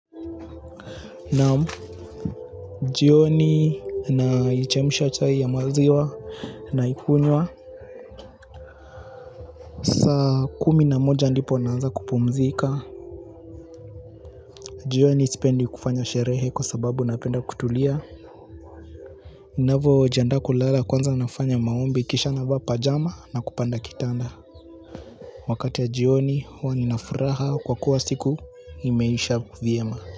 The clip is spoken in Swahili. Naam, jioni na chemusha chai ya maziwa na ikunywa. Sa kumi na moja ndipo naanza kupumzika. Jioni sipendi kufanya sherehe kwa sababu napenda kutulia. Navyo jianda kulala kwanza nafanya maombi kisha na vaa pajama na kupanda kitanda. Wakati ya jioni huwa ninafuraha kwa kuwa siku imeisha vyema.